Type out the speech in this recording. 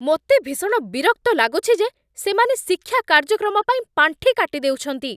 ମୋତେ ଭୀଷଣ ବିରକ୍ତ ଲାଗୁଛି ଯେ ସେମାନେ ଶିକ୍ଷା କାର୍ଯ୍ୟକ୍ରମ ପାଇଁ ପାଣ୍ଠି କାଟି ଦେଉଛନ୍ତି।